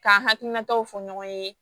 K'an hakilinataw fɔ ɲɔgɔn ye